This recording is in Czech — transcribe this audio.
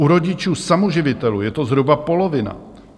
U rodičů samoživitelů je to zhruba polovina.